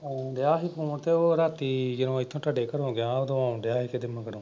ਹਾਂ ਆਉਣ ਡਿਆ ਸੀ ਫੋਨ ਤੇ ਉਹ ਰਾਤੀ ਜਦੋਂ ਇੱਥੋਂ ਥੋਡੇ ਘਰੋਂ ਗਿਆ ਉਦੋਂ ਆਉਣ ਡਿਆ ਸੀ ਕਿਤੇ ਮਗਰੋਂ।